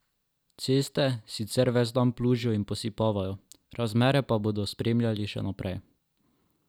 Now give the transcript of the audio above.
Ceste sicer ves dan plužijo in posipavajo, razmere pa bodo spremljali še naprej.